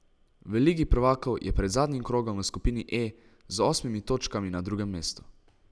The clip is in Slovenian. V ligi prvakov je pred zadnjim krogom v skupini E z osmimi točkami na drugem mestu.